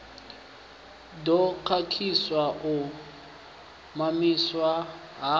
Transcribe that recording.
ḓo khakhisa u mamiswa ha